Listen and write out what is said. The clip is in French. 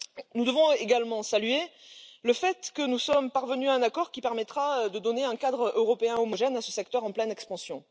Nous devons également saluer le fait que nous sommes parvenus à un accord qui permettra de donner un cadre européen homogène à ce secteur en pleine expansion.